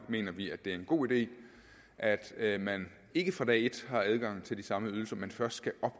mener vi at det er en god idé at at man ikke fra dag et har adgang til de samme ydelser men først skal